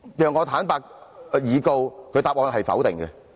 讓我坦率以告，它的答案是否定的。